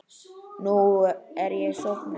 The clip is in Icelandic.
Nú er ég sofnuð.